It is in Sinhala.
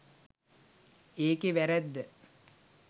ඒකේ වැරැද්ද.